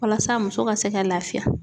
Walasa muso ka se ka lafiya.